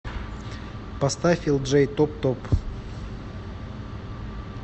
поставь элджей топ топ